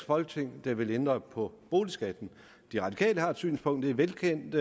folketing der vil ændre på boligskatten de radikale har et synspunkt det er velkendt